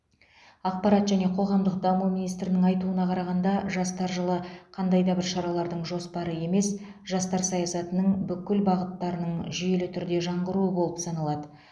ақпарат және қоғамдық даму министрінің айтуына қарағанда жастар жылы қандай да бір шаралардың жоспары емес жастар саясатының бүкіл бағыттарының жүйелі түрде жаңғыруы болып саналады